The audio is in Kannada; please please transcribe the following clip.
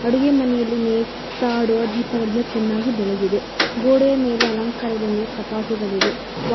ಅಡುಗೆ ಮನೆಯಲ್ಲಿ ನೇತು ಆಡುವ ದೀಪಗಳು ಚೆನ್ನಾಗಿ ಬೆಳಗಿದೆ ಗೋಡೆಯ ಮೇಲೆ ಅಲಂಕಾರಗಳನ್ನು ಕಪಾಟುಗಳಿವೆ.